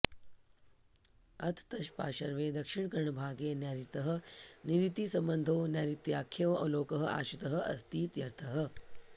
अथ तत्पार्श्वे दक्षिणकर्णभागे नैरृतः निरृतिसम्बन्धो नैरृत्याख्यो लोकः आश्रितः अस्तीत्यर्थः